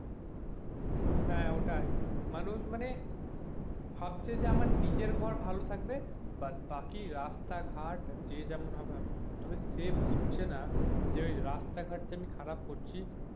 হ্যাঁ, ওটাই মানুষ মানে ভাবছে যে আমার নিজের ঘর ভালো থাকবে but বাকি রাস্তাঘাট যে যার যেমন হবে হবে তবে সে বুঝছে না যে ওই রাস্তাঘাট যে খারাপ করছি,